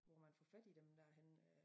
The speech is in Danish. Hvor man får fat i dem dér henne øh